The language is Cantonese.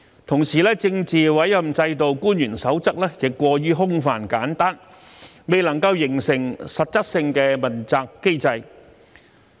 同時，《政治委任制度官員守則》亦過於空泛簡單，未能形成實質的問責機制。